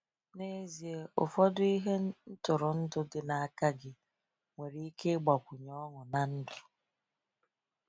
N’ezie, ụfọdụ ihe ntụrụndụ dị n’aka gị nwere ike ịgbakwunye ọṅụ na ndụ.